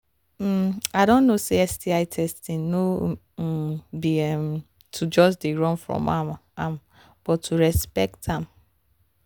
um i don know say sti testing no um be um to just they run from am am but to respect am